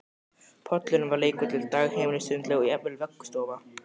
Pollurinn var leikvöllur, dagheimili, sundlaug og jafnvel vöggustofa